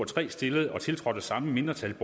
tre stillet og tiltrådt af samme mindretal